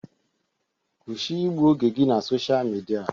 Kwụsị igbu oge gị na Sosha Midia!